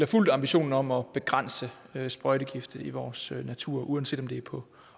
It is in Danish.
fuldt ambitionen om at begrænse sprøjtegifte i vores natur uanset om det er på